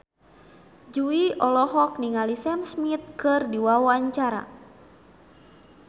Jui olohok ningali Sam Smith keur diwawancara